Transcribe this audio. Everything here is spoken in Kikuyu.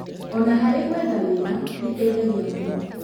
Ona harĩ gwetha wĩra, ĩteithagia mũno.